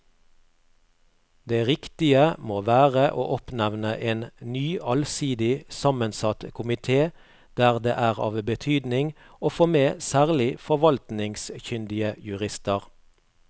Det riktige må være å oppnevne en ny allsidig sammensatt komite der det er av betydning å få med særlig forvaltningskyndige jurister.